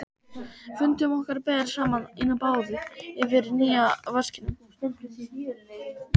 Fundum okkar ber saman inni á baði yfir nýja vaskinum.